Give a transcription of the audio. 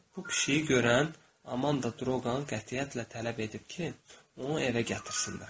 Bu pişiyi görən Amanda Droqan qətiyyətlə tələb edib ki, onu evə gətirsinlər.